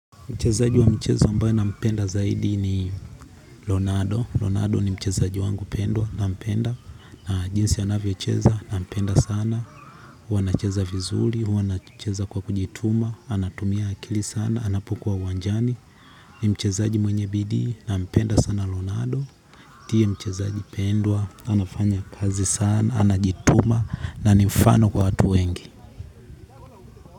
Mchezaji wa mchezo ambayo na mpenda zaidi ni Lonado Lonado ni mchezaji wangu pendwa na mpenda na jinsi anavyocheza na mpenda sana. Huwa anacheza vizuli, huwa anacheza kwa kujituma. Anatumia akili sana, anapokua uwanjani. Ni mchezaji mwenye bidii na mpenda sana Lonado ndiye mchezaji pendwa anafanya kazi sana anajituma na ni mfano kwa watu wengi.